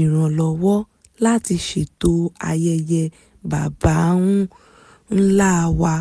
ìrànlọ́wọ́ láti ṣètò ayẹyẹ baba ńlá wa